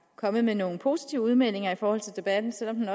kommet med nogle positive udmeldinger i forhold til debatten selv om den